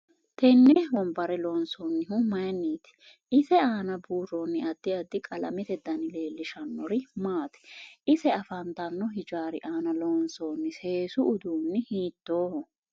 Tenne wonbare loonsoonihu mayiiniiti ise aana buurooni addi addi qalamete dani leelishannori maati ise afantanno hijaari aana loonsooni seesu uduuni hiitooho